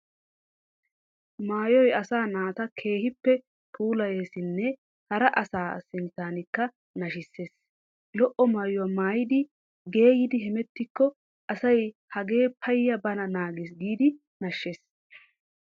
Maayoy asaa naata keehippe puulayeesinne hara asaa sinttaanikka nashissees. Lo"o Maayuwa maayidi geeyidi hemettikko asay hagee payya bana naagees giidi nashshees.